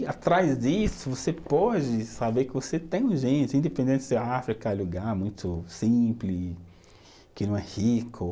E, atrás disso, você pode saber que você tem gente, independente se a África é um lugar muito simples, que não é rico.